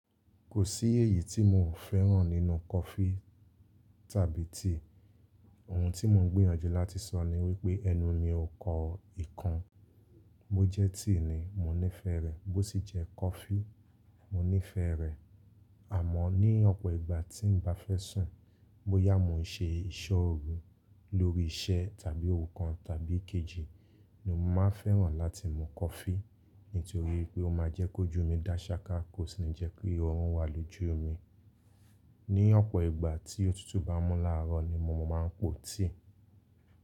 Kò sí èyí tí mò ń fẹ́ràn nínú coffee tàbí tea. Ohun tí mò ń gbìyànjú láti sọ ni wípé ẹnu mi kọ ìkan. Bó jẹ́ tea ni, mo nífẹ̀ẹ́ rẹ̀, bó sì jẹ́ coffee, mo nífẹ̀ẹ́ rẹ̀. Àmọ́ ní ọ̀pọ̀ ìgbà tí n bá fẹ́ sùn, bóyá mò ń ṣe ìṣọ́ òru lórí iṣẹ́ tàbí ohun kan tàbí kejì ni mo máa fẹ́ràn láti mú coffee nítorí pé ó máa jẹ́ kó jú mi dáṣaká, kò sì ní jẹ́ pé òun wà lójú mi. Ní ọ̀pọ̀ ìgbà tí òtútù bá mú láàárọ̀ ni mo máa ń pò tea.